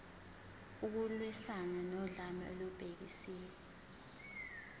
ukulwiswana nodlame olubhekiswe